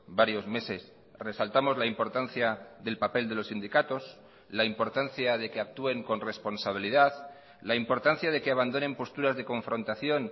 varios meses resaltamos la importancia del papel de los sindicatos la importancia de que actúen con responsabilidad la importancia de que abandonen posturas de confrontación